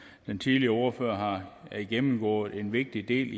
den tidligere ordfører har gennemgået en vigtig del